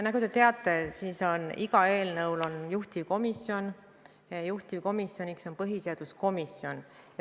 Nagu te teate, igal eelnõul on juhtivkomisjon ja juhtivkomisjoniks on põhiseaduskomisjon.